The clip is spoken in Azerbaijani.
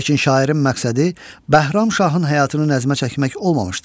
Lakin şairin məqsədi Bəhram şahın həyatını nəzmə çəkmək olmamışdır.